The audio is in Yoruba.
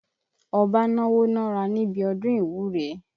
Ọba náwó nára níbi ọdún ìwúre.